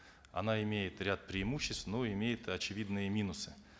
она имеет ряд преимуществ но и имеет очевидные минусы